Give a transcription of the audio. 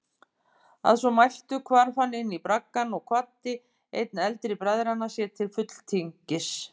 Að svo mæltu hvarf hann inní braggann og kvaddi einn eldri bræðranna sér til fulltingis.